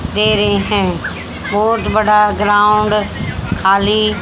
दे रहें हैं बहोत बड़ा ग्राउंड खाली--